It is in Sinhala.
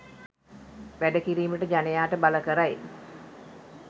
වැඩ කිරීමට ජනයාට බල කරයි